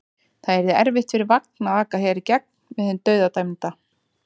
Það yrði erfitt fyrir vagn að aka hér í gegn með hinn dauðadæmda.